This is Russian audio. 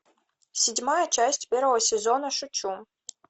седьмая часть первого сезона шучу